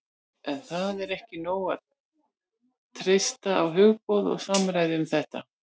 en það er ekki nóg að treysta á hugboð og samræður um þau